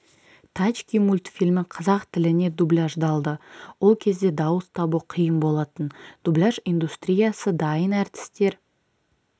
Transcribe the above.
тачки мультфильмі қазақ тіліне дубляждалды ол кезде дауыс табу қиын болатын дубляж индустриясы дайын әртістер